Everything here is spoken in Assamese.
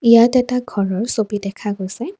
ইয়াত এটা ঘৰৰ ছবি দেখা গৈছে।